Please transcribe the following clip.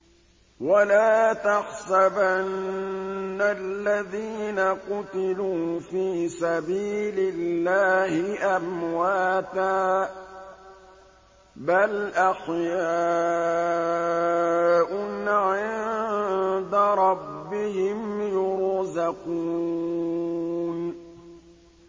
وَلَا تَحْسَبَنَّ الَّذِينَ قُتِلُوا فِي سَبِيلِ اللَّهِ أَمْوَاتًا ۚ بَلْ أَحْيَاءٌ عِندَ رَبِّهِمْ يُرْزَقُونَ